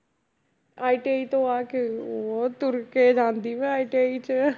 ITI ਤੋਂ ਆ ਕੇ ਉਹ ਤੁਰ ਕੇ ਜਾਂਦੀ ਮੈਂ ITI 'ਚ